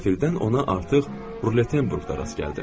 Qəflətən ona artıq Roulettenbourgda rast gəldim.